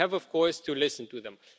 We have, of course, to listen to them.